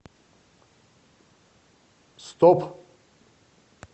стоп